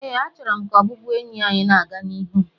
ee, achọrọ m ka ọbụbụenyi anyị na-aga n'ihu